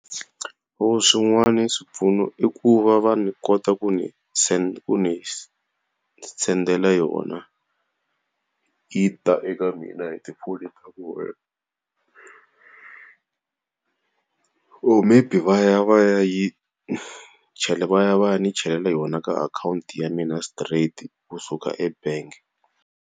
Swin'wana swipfuno i ku va va ndzi kota ku ni Ku ndzi sendela yona yi ta eka mina hi . or maybe va ya va ya yi va ya va ya ndzi chelela yona ka akhawunti ya mina straight kusuka ebangi.